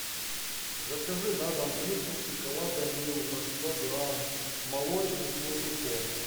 закажи на дом плитку шоколада милка сто грамм молочный с фундуком